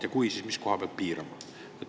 Ja kui, siis mis koha pealt piirama?